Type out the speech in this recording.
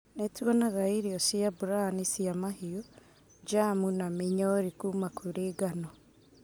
Nĩtuonaga irio cia brani cia mahiũ, germu na mĩnyori kuma kũri ngano